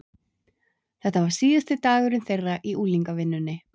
Þetta var síðasti dagurinn þeirra í unglingavinnunni.